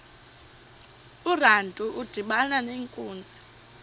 urantu udibana nenkunzi